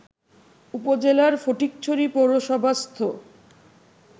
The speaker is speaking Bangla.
উপজেলার ফটিকছড়ি পৌরসভাস্থ